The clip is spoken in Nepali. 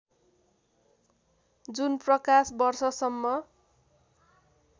जुन प्रकाश वर्षसम्म